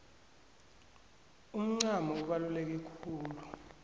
umncamo ubaluleke khulu